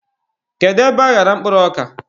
Kedu ebe aghara mkpụrụ ọka?